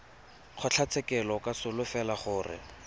kgotlatshekelo o ka solofela gore